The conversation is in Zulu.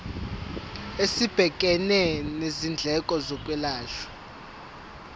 esibhekene nezindleko zokwelashwa